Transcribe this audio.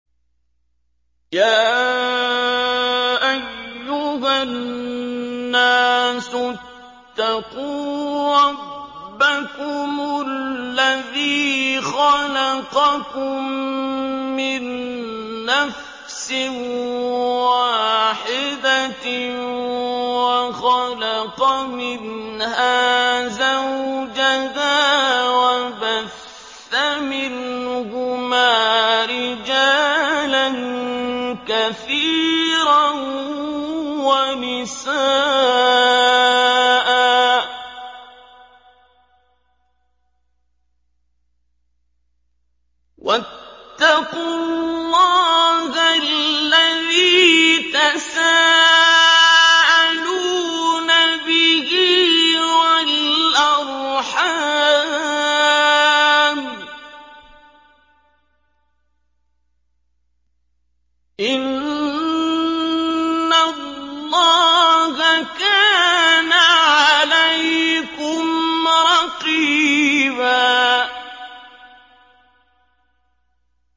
يَا أَيُّهَا النَّاسُ اتَّقُوا رَبَّكُمُ الَّذِي خَلَقَكُم مِّن نَّفْسٍ وَاحِدَةٍ وَخَلَقَ مِنْهَا زَوْجَهَا وَبَثَّ مِنْهُمَا رِجَالًا كَثِيرًا وَنِسَاءً ۚ وَاتَّقُوا اللَّهَ الَّذِي تَسَاءَلُونَ بِهِ وَالْأَرْحَامَ ۚ إِنَّ اللَّهَ كَانَ عَلَيْكُمْ رَقِيبًا